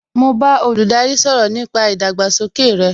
Mo bá olùdarí sọ̀rọ̀ nípa ìgbésókè rey